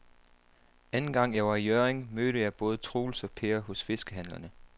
Anden gang jeg var i Hjørring, mødte jeg både Troels og Per hos fiskehandlerne.